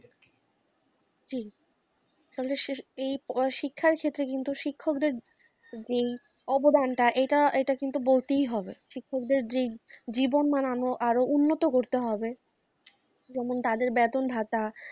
জি, তাহলেই শিক্ষার ক্ষেত্রে কিন্তু শিক্ষকদের যে এই অবদানটা এটা, এটা কিন্তু বলতেই হবে। শিক্ষকদের যে জীবন বানানো আরও উন্নত করতে হবে তাদের বেতন ভাতা